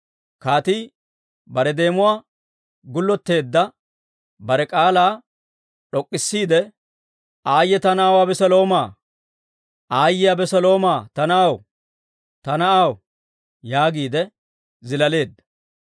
Kaatii bare deemuwaa gullotteedda, bare k'aalaa d'ok'k'isiide, «Aayye ta na'aw Abeseloomaa! Aayye Abeseloomaa ta na'aw! Ta na'aw!» yaagiide zilaaleedda.